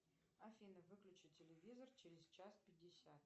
афина выключи телевизор через час пятьдесят